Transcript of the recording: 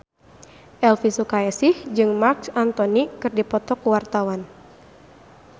Elvy Sukaesih jeung Marc Anthony keur dipoto ku wartawan